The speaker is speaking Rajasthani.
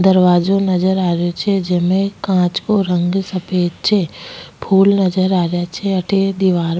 दरवाजो नजर आ रो छे जेमे कांच को रंग सफ़ेद छे फुल नजर आ रहा छे अठ दीवार --